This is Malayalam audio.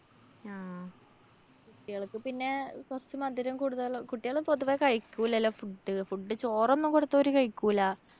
കുട്ടികള്‍ക്ക് പിന്നെ കൊറച്ച് മധുരം കൂടുതല്. കുട്ടികള് പൊതുവെ കഴിക്കൂലല്ലോ food, food. ചോറൊന്നും കൊടുത്താ ഓര് കഴിക്കൂല.